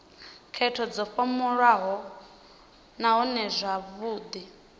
khetho dzo vhofholowaho nahone dzavhudi